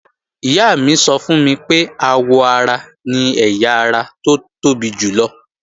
Ìyá mi sọ fún mi pé àwọ ara ni ẹ̀yà ara tó tóbi jùlọ